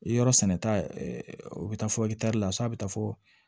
Yɔrɔ sɛnɛta o bɛ taa fɔ la so a bɛ taa fɔ